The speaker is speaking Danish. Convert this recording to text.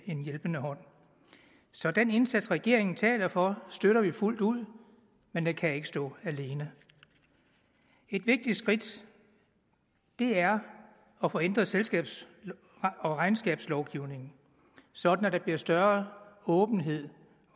en hjælpende hånd så den indsats regeringen taler for støtter vi fuldt ud men den kan ikke stå alene et vigtigt skridt er at få ændret selskabs og regnskabslovgivningen sådan at der bliver større åbenhed